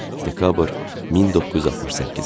Dekabr 1968.